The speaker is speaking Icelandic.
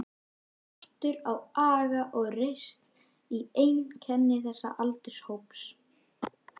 Skortur á aga og reisn er einkenni þessa aldurshóps.